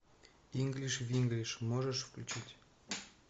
инглиш винглиш можешь включить